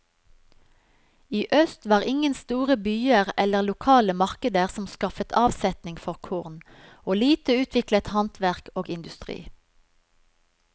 I øst var ingen store byer eller lokale markeder som skaffet avsetning for korn, og lite utviklet handverk og industri.